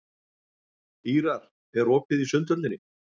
Ýrar, er opið í Sundhöllinni?